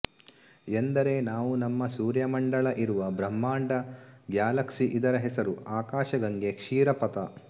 ಎಂದರೆ ನಾವು ನಮ್ಮ ಸೂರ್ಯಮಂಡಲ ಇರುವ ಬ್ರಹ್ಮಾಂಡ ಗ್ಯಲಾಕ್ಷಿ ಇದರ ಹೆಸರು ಆಕಾಶಗಂಗೆ ಕ್ಷೀರಪಥ